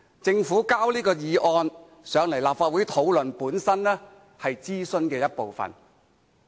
政府提交這項議案來立法會討論，本身也是諮詢的一部分。